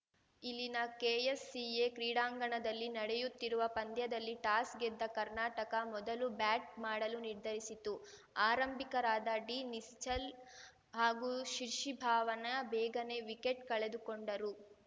ಇಲ್ಲಿನ ಕೆಎಸ್‌ಸಿಎ ಕ್ರೀಡಾಂಗಣದಲ್ಲಿ ನಡೆಯುತ್ತಿರುವ ಪಂದ್ಯದಲ್ಲಿ ಟಾಸ್‌ ಗೆದ್ದ ಕರ್ನಾಟಕ ಮೊದಲು ಬ್ಯಾಟ್‌ ಮಾಡಲು ನಿರ್ಧರಿಸಿತು ಆರಂಭಿಕರಾದ ಡಿನಿಶ್ಚಲ್‌ ಹಾಗೂ ಶಿಶಿ ಭವಾನ ಬೇಗನೆ ವಿಕೆಟ್‌ ಕಳೆದುಕೊಂಡರು